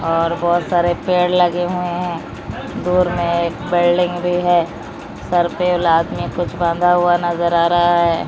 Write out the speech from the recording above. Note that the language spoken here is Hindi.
और बहोत सारे पेड़ लगे हुए हैं। दूर में एक बिल्डिंग भी है। सर पे और मे कुछ बांधा हुआ नजर आ रहा है।